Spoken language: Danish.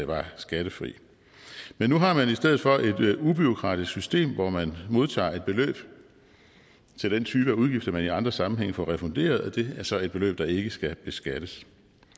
var skattefri men nu har man i stedet for et ubureaukratisk system hvor man modtager et beløb til den type af udgifter man i andre sammenhænge får refunderet og det er så et beløb der ikke skal beskattes